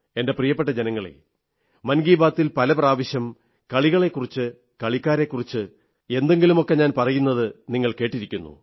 എന്റെ പ്രിയപ്പെട്ട ജനങ്ങളേ മൻ കീ ബാത്തിൽ പല പ്രാവശ്യം കളികളെക്കുറിച്ച് കളിക്കാരെക്കുറിച്ച് എന്തെങ്കിലുമൊക്കെ ഞാൻ പറയുന്നത് നിങ്ങൾ കേട്ടിരിക്കുന്നു